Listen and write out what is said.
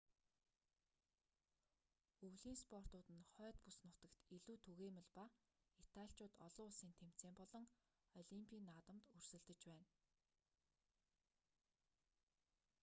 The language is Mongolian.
өвлийн спортууд нь хойд бүс нутагт илүү түгээмэл ба италичууд олон улсын тэмцээн болон олимпийн наадамд өрсөлдөж байна